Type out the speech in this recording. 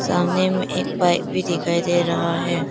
सामने में एक बाइक भी दिखाई दे रहा है।